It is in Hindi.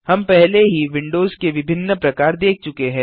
हम पहले ही विंडोज के विभिन्न प्रकार देख चुके हैं